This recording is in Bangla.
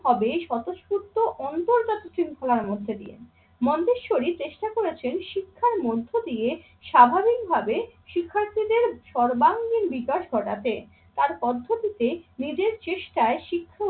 হবে স্বতঃস্ফূর্ত অন্তর্গত শৃঙ্খলার মধ্যে দিয়ে। মন্তেশ্বরী চেষ্টা করেছেন শিক্ষার মধ্য দিয়ে স্বাভাবিকভাবে শিক্ষার্থীদের সর্বাঙ্গীণ বিকাশ ঘটাতে। তার পদ্ধতিতে নিজের চেষ্টায়